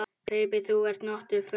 Kaupi þú þér notuð föt?